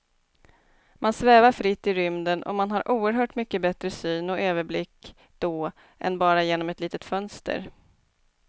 Man svävar fritt i rymden och man har oerhört mycket bättre syn och överblick då än bara genom ett litet fönster.